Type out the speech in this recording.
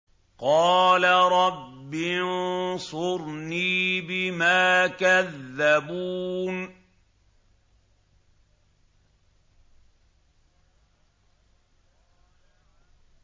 قَالَ رَبِّ انصُرْنِي بِمَا كَذَّبُونِ